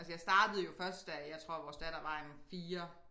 Altså jeg startede jo først da jeg tror vores datter var en 4